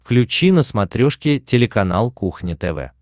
включи на смотрешке телеканал кухня тв